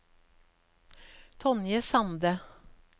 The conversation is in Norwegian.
Tonje Sande